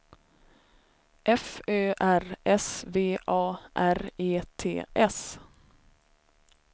F Ö R S V A R E T S